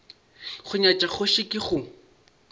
go nyatša kgoši ke go